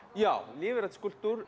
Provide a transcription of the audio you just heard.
já lífrænn skúlptúr